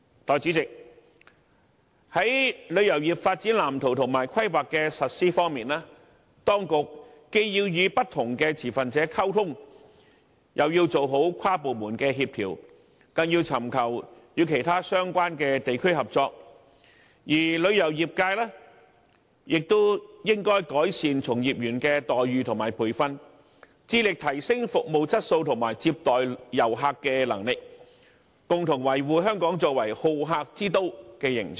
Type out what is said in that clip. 代理主席，在旅遊業發展藍圖和規劃的實施方面，當局既要與不同持份者溝通，又要完善跨部門協調，更要尋求與其他相關地區合作，而旅遊業界亦應該改善從業員的待遇和培訓，致力提升服務質素和接待遊客的能力，共同維護香港作為好客之都的形象。